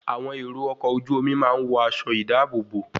Àwọn èrò ọkọ̀ ojú omi máa ń wọ aṣọ ìdáàbòbò